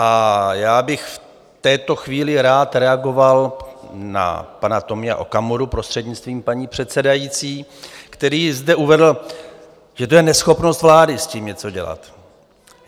A já bych v této chvíli rád reagoval na pana Tomia Okamuru, prostřednictvím paní předsedající, který zde uvedl, že to je neschopnost vlády s tím něco dělat.